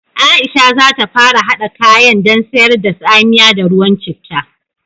Aisha za ta fara haɗa kayan dan sayar da tsamiya da ruwan citta